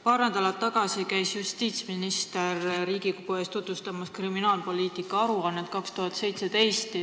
Paar nädalat tagasi käis justiitsminister Riigikogu ees tutvustamas kriminaalpoliitika 2017. aasta aruannet.